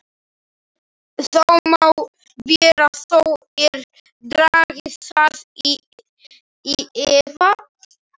Það má vera þó ég dragi það í efa.